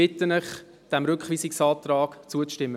Ich bitte Sie, diesem Rückweisungsantrag zuzustimmen.